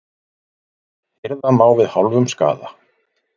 Hirða má við hálfum skaða.